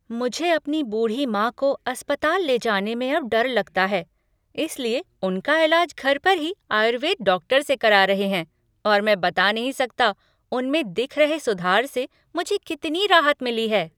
मुझे अपनी बूढ़ी माँ को अस्पताल ले जाने में अब डर लगता है, इसलिए उनका इलाज घर पर ही आयुर्वेद डॉक्टर से करा रहे हैं और मैं बता नहीं सकता, उनमें दिख रहे सुधार से मुझे कितनी राहत मिली है।